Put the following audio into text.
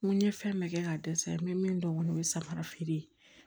N ko n ye fɛn bɛɛ kɛ ka dɛsɛ n bɛ min dɔn kɔni o ye samara feere ye